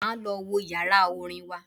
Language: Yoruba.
Máa lọ wo yàrá orin wa.